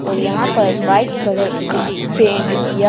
और यहां पर वाइट कलर का पेंट किया--